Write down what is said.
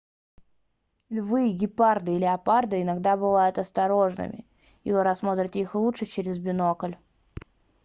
львы гепарды и леопарды иногда бывают осторожными и вы рассмотрите их лучше через бинокль